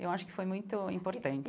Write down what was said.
Eu acho que foi muito importante.